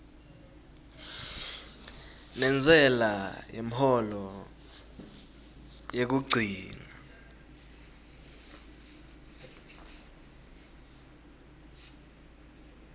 nentsela yemholo yekugcina